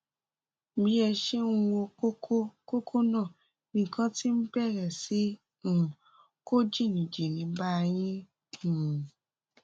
bí ẹ ṣe ń wo kókó kókó náà nìkan ti bẹrẹ sí um kó jìnnìjìnnì bá yín um